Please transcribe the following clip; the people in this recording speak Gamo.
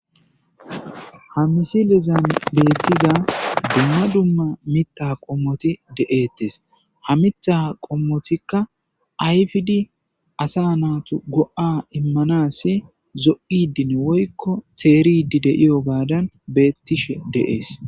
Ha misilizan beettiza dumma dumma mita qommoti deeettes ha mitha qommotikka ayfidi asa naatu go7a immanas zo7idin woykko teeridi deiyo gaadan beettishe deees.